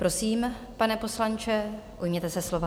Prosím, pane poslanče, ujměte se slova.